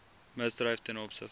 misdryf ten opsigte